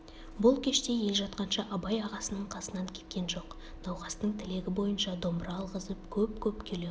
бұл кеште ел жатқанша абай ағасының қасынан кеткен жоқ науқастың тілегі бойынша домбыра алғызып көп-көп күйлер